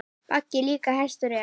Baggi líka hestur er.